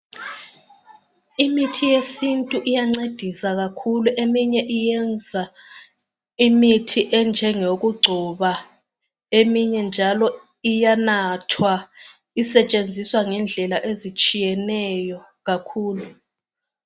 Imithi yesintu iyancedisa kakhulu eminye iyenza imithi enjengeyokugcoba eminye njalo iyanathwa isetshenziswa ngendlela ezitshiyeneyo kakhulu.